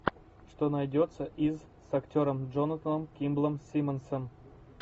что найдется из с актером джонатаном кимблом симмонсом